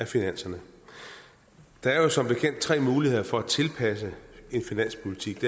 finanserne der er jo som bekendt tre muligheder for at tilpasse en finanspolitik